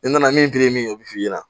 N nana min girin min ye o bi f'i ɲɛna